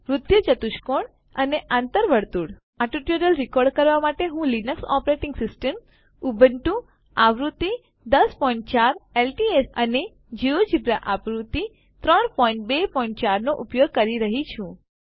વૃત્તીય ચતુષ્કોણ અને આંતર વર્તુળ આ ટ્યુટોરીયલ રિકોર્ડ કરવા માટે હું લીનક્સ ઓપરેટિંગ સિસ્ટમ ઉબુન્ટુ આવૃત્તિ ૧૦૦૪ એલટીએસ અને જિયોજેબ્રા આવૃત્તિ ૩૨૪૦૦ નો ઉપયોગ કરી રહ્યો છું